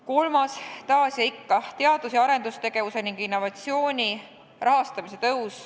Kolmas küsimus on ikka jälle teadus- ja arendustegevuse ning innovatsiooni rahastamise kohta.